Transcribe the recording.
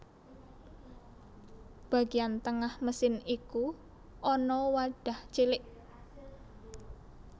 Bagian tengah mesin iku ana wadah cilik